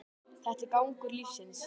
Þetta er gangur lífsins